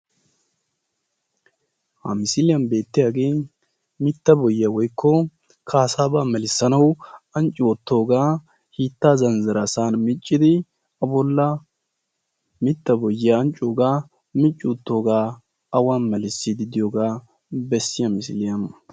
Mitta boyiya melissannawu melissanawu zanzzira bolla micciddi melissiyooga.